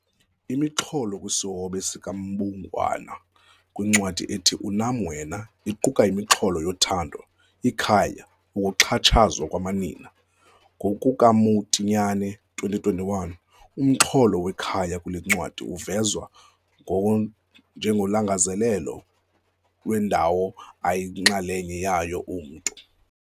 Imixholo kwisihobe sikaMbungwana kwincwadi ethi 'Unam Wena' iquka imixholo yothando, ikhaya, ukuxhatshazwa kwamanina. NgokukaMotinyane, 2021, umxholo wekhaya kule ncwadi uvezwa njengolangazelelo lwendawo ayinxalenye yayo umntu.